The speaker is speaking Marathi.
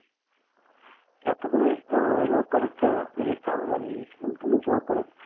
ते आता तुम्ही अं लवकरच ही चालू झालेली स्कीम तुम्ही लवकरच